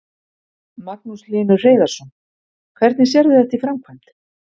Magnús Hlynur Hreiðarsson: Hvernig sérðu þetta í framkvæmd?